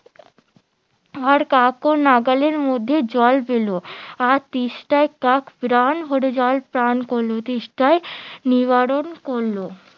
আর কাকও নাগালের মধ্যে জল পেলো আর তেষ্টায় কাক প্রাণ ভোরে জল পান করলো তেষ্টা নিবারণ করলো